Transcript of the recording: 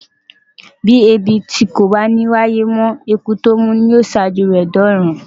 Bí Ẹ̀bìtì kò bá ní wáyé mọ́, Eku tó mú yóò ṣíwájú rẹ̀ dọ́run.